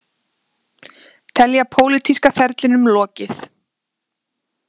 Telja pólitíska ferlinum lokið